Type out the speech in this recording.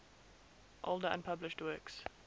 older unpublished works